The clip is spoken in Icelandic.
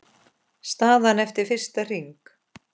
Staðan eftir fyrsta hring